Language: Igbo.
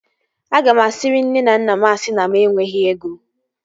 Aga m asiri nne na nna m asị na mụ enweghị ego